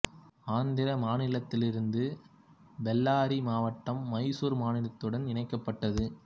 ஆந்திர மாநிலத்தில் இருந்து பெல்லாரி மாவட்டம் மைசூர் மாநிலத்துடன் இணைக்கப்பட்டது